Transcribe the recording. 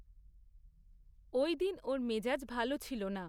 ঐদিন ওর মেজাজ ভালো ছিল না।